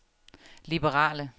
liberale